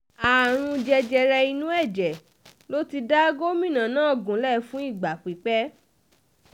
àrùn jẹjẹrẹ inú ẹ̀jẹ̀ ló ti da gómìnà náà gúnlẹ̀ fún ìgbà pípẹ́